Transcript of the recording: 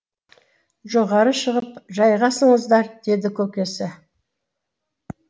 жоғары шығып жайғасыңыздар деді көкесі